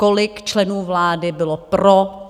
Kolik členů vlády bylo pro?